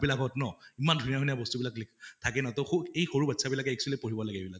বিলাকত ন ইমান ধুনীয়া ধুনীয়া বস্তু বিলাক লিখ থাকে ন তʼ স এই সৰু বাচ্ছা বিলাকে actually পঢ়িব লাগে এইবিলাক